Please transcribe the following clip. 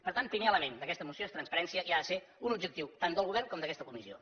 per tant el primer element d’aquesta moció és transparència i ha de ser un objectiu tant del govern com d’aquesta comissió